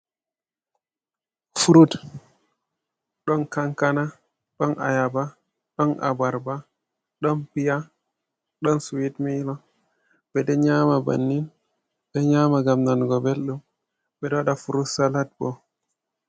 Furut. Ɗon kankana, ɗon ayaba, ɗon abarba, ɗon piya, ɗon siwit milo. Ɓe ɗo nyaama bannin, ɓe nyaama ngam nanugo belɗum, ɓe ɗo waɗa frut salat bo.